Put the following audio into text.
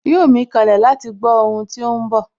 Yóò mí kanlẹ̀ láti gbó ohun tí óhún bọ̀